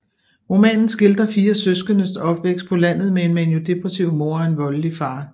Romanen skildrer fire søskendes opvækst på landet med en maniodepressiv mor og en voldelig far